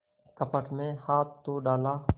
कपट में हाथ तो डाला